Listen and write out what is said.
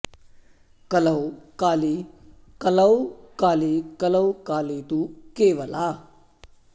कलौ काली कलौ काली कलौ काली तु केवला